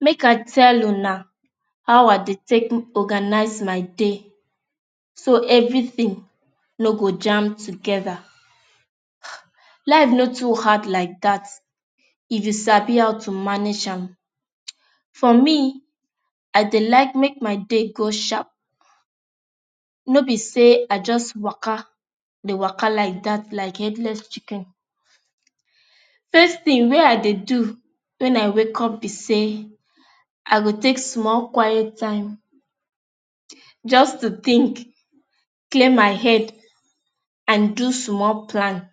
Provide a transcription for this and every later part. Make I tell una how I dey take organize my day so everything, no go jamb together. Life no too hard like that If you sabi how to manage am. For me, I dey like make my day go sharp. No be say I just waka, dey waka like that like headless chicken. First thing wey I dey do when I wake up be say I go take small quiet time just to think, clear my head and do small planning.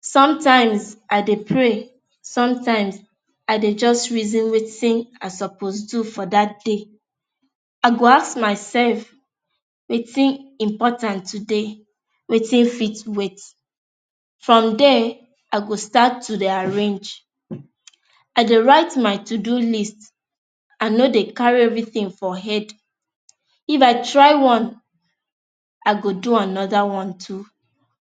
Sometimes I dey pray, sometimes, I dey just reason Wetin I suppose do for that day. I go ask myself Wetin important today, Wetin fit wait. From there I go start to dey arrange. I dey write my to-do list. I no dey carry everything for head. If I try one I go do another one too.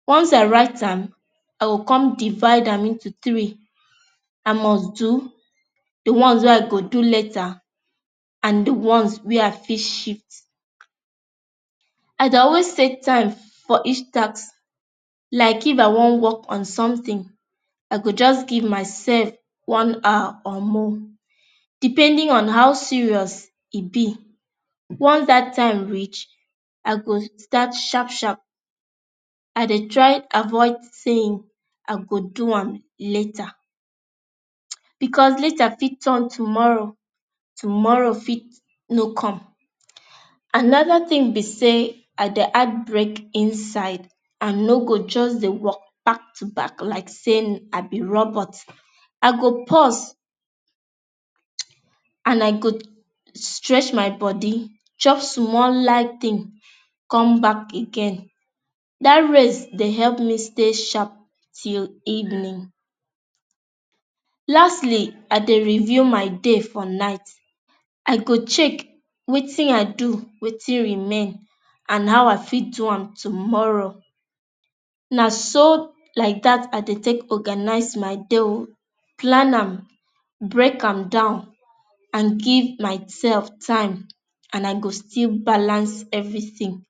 Once I write am, I go con divide am into three. I must do, the ones wey i go do later and the ones wey I fit shift. I dey always take time for each task like if i wan work on something I go just give myself one hour or more depending on how serious e be. Once that time reach, I go start sharp sharp. I Dey try avoid saying I go do am later, because later fit turn tomorrow tomorrow fit no come. Another thing be say I dey add break inside. I no go just dey work back to back like say I be robot. I go pause and I go stretch my body, chop on small light thing, come back again. that ways dey help me stay sharp till evening. Lastly I dey review my day for night. I go check Wetin I do, Wetin remain and how I fit do am tomorrow. Na so like that I Dey take organize my day ooo, plan am, break am down and give myself time and I go still balance everything.